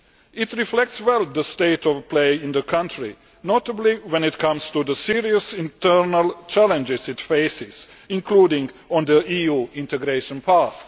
It reflects well the state of play in the country, notably when it comes to the serious internal challenges it faces, including on the EU integration path.